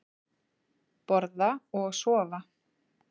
Borða og sofa.